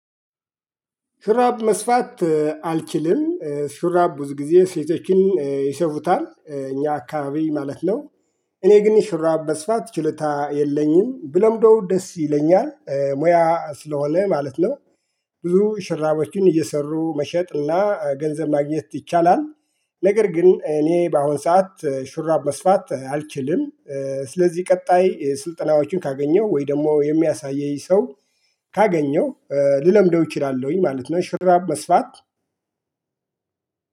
ሹራብ መስፋት አልችልም ሹራብ ብዙ ጊዜ ሴቶችን ይሰፉታል እኛ አካባቢ ማለት ነው። እኔ ግን ይህ ሹራብ መስፋት ችሎታ የለኝም ብለምደው ደስ ይለኛል ሞያ ስለሆነ ማለት ነው። ብዙ ሹራቦችን እየሰሩ መሸጥና ገንዘብ ማግኘት ይቻላል። ነገር ግን እኔ በአሁን ሰዓት ሹራብ መስፋት አልችልም። ስለዚህ ቀጣይ ስልጠናዎችን ካገኘው ወይ ደግሞ የሚያሳየኝ ሰው ካገኘው ልለምደው እችላለሁኝ ማለት ነው። ሹራብ መስፋት